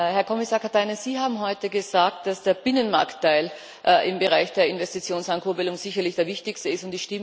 Herr Kommissar Katainen, Sie haben heute gesagt, dass der Binnenmarktteil im Bereich der Investitionsankurbelung sicherlich der wichtigste ist.